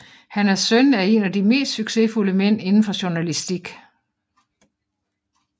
Han er søn af en af de mest succesfulde mænd indenfor journalastik